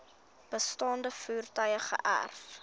bestaande voertuie geërf